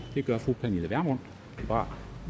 det gør fru pernille vermund fra